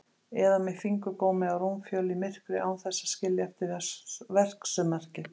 Eða með fingurgómi á rúmfjöl í myrkri án þess að skilja eftir verksummerki.